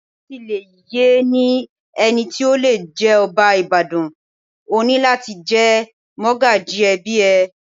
Láti lè yẹ ní ẹni tí ó le jẹ́ ọba Ìbàdàn, o ní láti jẹ́ mọ́gàjí ẹbí ẹ.